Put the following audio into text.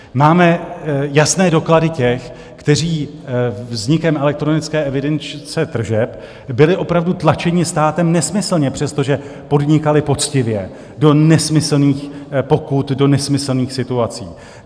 Máme jasné doklady těch, kteří vznikem elektronické evidence tržeb byli opravdu tlačeni státem nesmyslně, přestože podnikali poctivě, do nesmyslných pokut, do nesmyslných situací.